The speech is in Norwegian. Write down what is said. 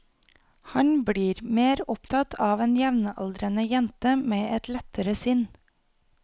Han blir mer opptatt av en jevnaldrende jente med et lettere sinn.